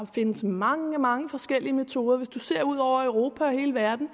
findes mange mange forskellige metoder hvis man ser ud over europa og hele verden